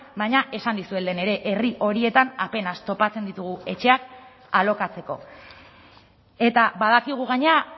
baina esan dizuet lehen ere herri horietan apenas topatzen ditugu etxeak alokatzeko eta badakigu gainera